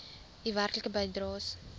u werklike bydraes